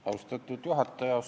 Austatud juhataja!